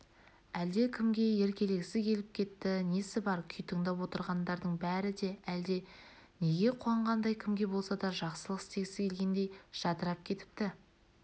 әлде кімге еркелегісі келіп кетті несі бар күй тыңдап отырғандардың бәрі де әлде неге қуанғандай кімге болса да бір жақсылық істегісі келгендей жадырап кетіпті